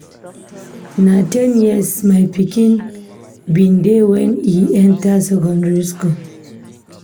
Na ten years my pikin bin dey wen e enta secondary skool.